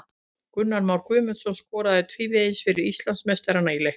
Gunnar Már Guðmundsson skoraði tvívegis fyrir Íslandsmeistarana í leiknum.